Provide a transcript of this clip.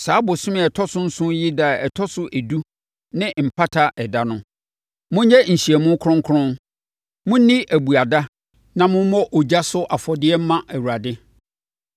“Saa bosome a ɛtɔ so nson yi ɛda a ɛtɔ so edu ne Mpata Ɛda no. Monyɛ nhyiamu kronkron, monni abuada na mommɔ ogya so afɔdeɛ mma Awurade